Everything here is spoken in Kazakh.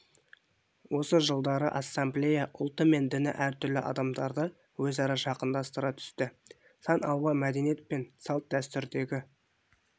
осы жылдары ассамблея ұлты мен діні әртүрлі адамдарды өзара жақындастыра түсті сан алуан мәдениет пен салт-дәстүрдегі